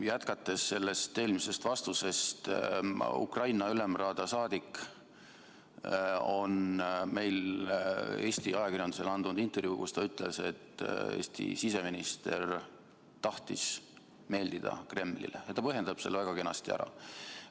Jätkates sellest eelmisest vastusest, Ukraina Ülemraada liige on andnud Eesti ajakirjandusele intervjuu, kus ta ütles, et Eesti siseminister tahtis meeldida Kremlile, ja ta põhjendab selle väga kenasti ära.